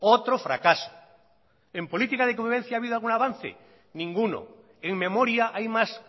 otro fracaso en política de convivencia ha habido algún avance ninguno en memoria hay más